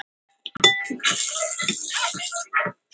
Stjáni mundi að honum hafði fundist hið sama þegar hann kom heim í fyrra.